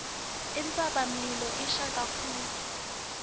intsabamlilo ishisa kakhulu